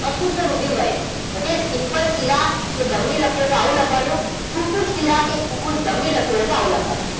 અશુદ્ધ રુધિર વહે okay simple શિરા કે ધમની લખેલું હોય તો આવું લખવાનું ફુફુસ શિરા કે ફુફુસ ધમની લખેલું હોય તો આવું લખવાનું